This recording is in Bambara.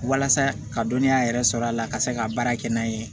Walasa ka dɔnniya yɛrɛ sɔrɔ a la ka se ka baara kɛ n'a ye